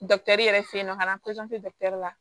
yɛrɛ fe yen nɔ ka na la